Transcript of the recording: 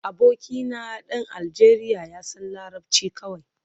Abokina dan Aljeriya ya san larabci kawai